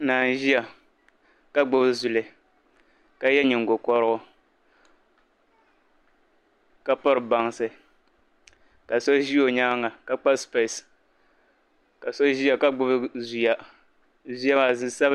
Naa nʒiya, ka gbubi zuli. ka ye nyiŋgo korigu. ka piri bansi. kaso ʒi ɔnyaaŋa ka kpa spiɛs. ka so ʒiya ka gbubi ziya ziya maa zu sabila.